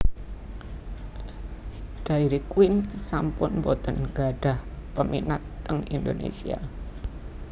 Dairy Queen sampun mboten nggadhah peminat teng Indonesia